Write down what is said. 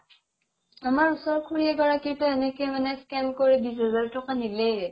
আমাৰ ওচৰৰ খুৰী এগৰাকীৰ এনেকে মানে scan কৰি বিশ হাজাৰ তকা নিলেয়ে